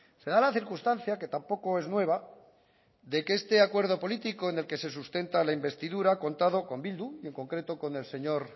se da la circunstancia que tampoco es nueva de que este acuerdo político en el que se sustenta la investidura contado con bildu y en concreto con el señor